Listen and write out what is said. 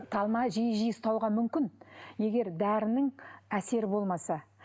талма жиі жиі ұстауға мүмкін егер дәрінің әсері болмаса